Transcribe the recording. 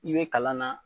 I bɛ kalan na